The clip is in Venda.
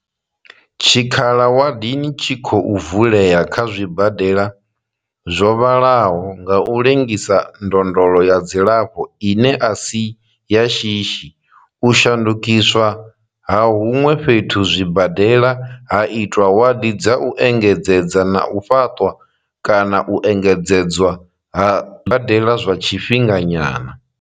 Tshikhala wadini tshi khou vulea kha zwibadela zwo vhalaho nga u lengisa ndondolo ya dzilafho ine a si ya shishi, u shandukiswa ha huṅwe fhethu zwibadela ha itwa wadi dza u engedzedza na u fhaṱwa kana u engedzedzwa ha zwibadela zwa tshifhinga nyana.